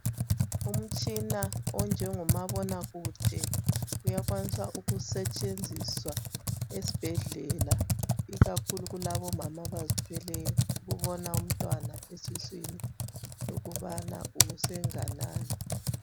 Umtshina onjengomabona kude uyakwanisa ukusetshenziswa esbhedlela ikakhulu kulabomama abazithweleyo ukubona umntwana esiswini lokubana usenganani.